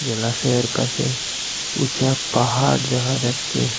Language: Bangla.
জলাশয়ের পাশে উঁচা পাহাড় দেখা যাচ্ছে।